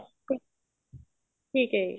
ਠੀਕ ਹੈ ਜੀ